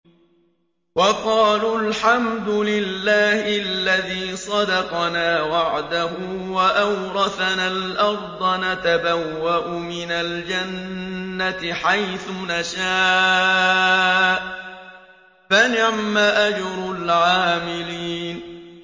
وَقَالُوا الْحَمْدُ لِلَّهِ الَّذِي صَدَقَنَا وَعْدَهُ وَأَوْرَثَنَا الْأَرْضَ نَتَبَوَّأُ مِنَ الْجَنَّةِ حَيْثُ نَشَاءُ ۖ فَنِعْمَ أَجْرُ الْعَامِلِينَ